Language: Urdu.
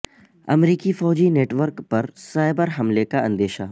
امریکی فوجی نیٹ ورک پر سائبر حملے کا اندیشہ